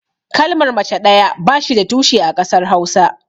Kalmar mace ɗaya ba shi da tushe a ƙasar hausa.